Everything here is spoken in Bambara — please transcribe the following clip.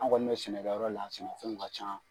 An kɔni bɛ sɛnɛkɛyɔrɔ la sɛnɛfɛnw ka ca